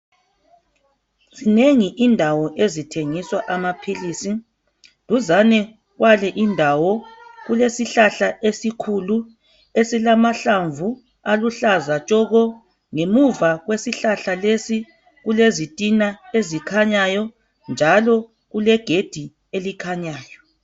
Zinengi indawo ezithengiswa amaphilisi. Eduzane kwale indawo kulesihlahla esikhulu esilamahlamvu aluhlaza tshoko. Ngemuva kwesihlahla lesi kulezitina ezikhanyayo njalo kulegedi elikhanyayo